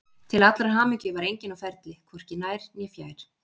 Til allrar hamingju var enginn á ferli, hvorki nær né fjær.